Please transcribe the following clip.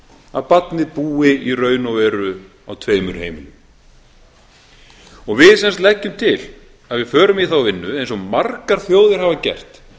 að barnið búi í raun og veru á tveimur heimilum við sem sagt leggjum til að við förum í þá vinnu eins og margar þjóðir hafa gert